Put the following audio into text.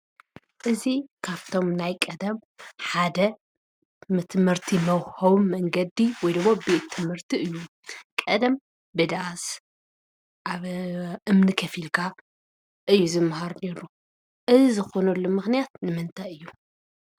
እዚ ካብቶም ናይ ቀደም ሓደ ንትምህርቲ መውሀቢ መንገዲ ወይ ደሞ ቤት ትምህርቲ እዩ ።ቀደም ብዳስ ኣብ እምኒ ከፍ ኢልካ እዩ ዝመሃር ነይሩ ።እዚ ዝኾነሉ ምኽንያት ንምንታይ እዩ?